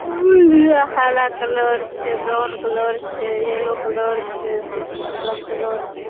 हरा कलर छे brown colour छे येल्लो कलर छे सब कलर छे।